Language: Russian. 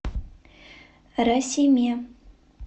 расиме